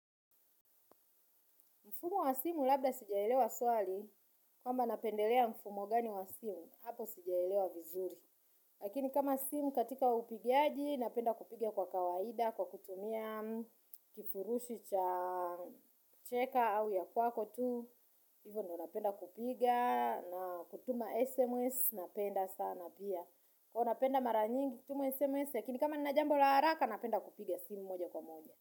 Mfumo wa simu labda sijaelewa swali, kwamba napendelea mfumo gani wa simu, hapo sijaelewa vizuri. Lakini kama simu katika upigaji, napenda kupiga kwa kawaida, kwa kutumia, kifurushi cha cheka au ya kwako tu, hivyo ndio napenda kupiga, na kutuma SMS, napenda sana pia. Kwa hiyo napenda mara nyingi, kutuma SMS, lakini kama nina jambo la haraka, napenda kupiga simu moja kwa moja.